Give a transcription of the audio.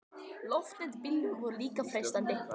Loftnet á bílum voru líka freistandi.